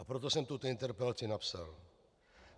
A proto jsem tuto interpelaci napsal.